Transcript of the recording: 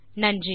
நன்றி